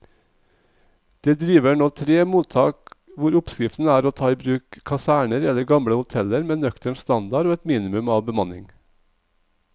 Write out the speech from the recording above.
Det driver nå tre mottak hvor oppskriften er å ta i bruk kaserner eller gamle hoteller med nøktern standard og et minimum av bemanning.